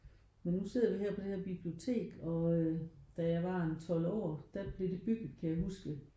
Men nu sidder vi her på det her bibliotek og øh da jeg var en 12 år da blev det bygget kan jeg huske